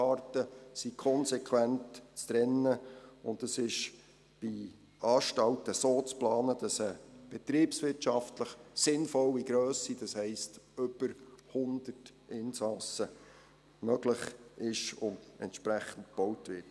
Die Haftarten sind konsequent zu trennen, und es ist bei Anstalten so zu planen, dass eine betriebswirtschaftlich sinnvolle Grösse, das heisst über 100 Insassen, möglich ist und entsprechend gebaut wird.